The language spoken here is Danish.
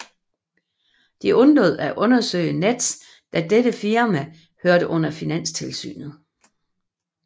De undlod at undersøge Nets da dette firma hørte under Finanstilsynet